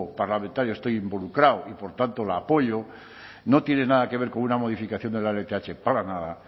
parlamentario estoy involucrado y por tanto la apoyo no tiene nada que ver con una modificación de la lth para nada